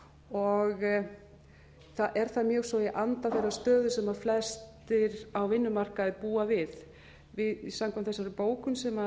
og er það mjög sinn í anda þeirrar stöðu sem flestir á vinnumarkaði búa við samkvæmt þessari bókun sem